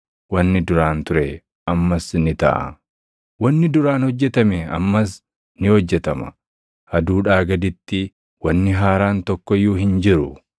Wanni duraan ture ammas ni taʼa; wanni duraan hojjetame ammas ni hojjetama; aduudhaa gaditti wanni haaraan tokko iyyuu hin jiru.